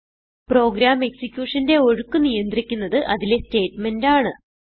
programme execution ന്റെ ഒഴുക്ക് നിയന്ത്രിക്കുന്നത് അതിലെ സ്റ്റേറ്റ്മെന്റ് ആണ്